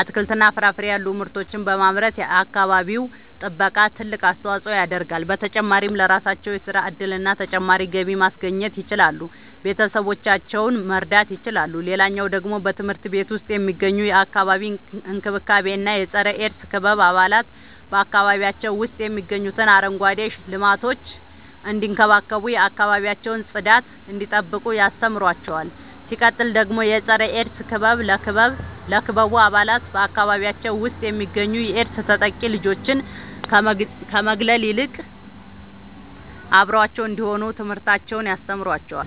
አትክልትና ፍራፍሬ ያሉ ምርቶችን በማምረት የአካባቢው ጥበቃ ትልቅ አስተዋጽኦ ያደርጋሉ። በተጨማሪም ለራሳቸው የሥራ እድልና ተጨማሪ ገቢ ማስገኘት ይችላሉ ቤተሰቦቻቸውን መርዳት ይችላሉ። ሌላኛው ደግሞ በትምህርት ቤት ውስጥ የሚገኙ የአካባቢ እንክብካቤ እና የፀረ -ኤድስ ክበብ አባላት በአካባቢያቸው ውስጥ የሚገኙትን አረንጓዴ ልማቶች እንዲንከባከቡ የአካባቢያቸውን ጽዳት እንዲጠብቁ ያስተምሯቸዋል። ሲቀጥል ደግሞ የፀረ-ኤድስ ክበብ ለክበቡ አባላት በአካባቢያቸው ውስጥ የሚገኙ የኤድስ ተጠቂ ልጆችን ከመግለል ይልቅ አብረዋቸው እንዲሆኑ ትምህርትን ያስተምራቸዋል።